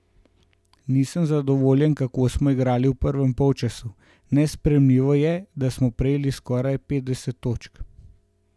Nisem zadovoljen, kako smo igrali v prvem polčasu, nesprejemljivo je, da smo prejeli skoraj petdeset točk.